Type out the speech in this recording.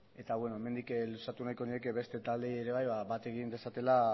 eta hemendik luzatu nahiko nieke beste taldeei ere bai bat egin dezatela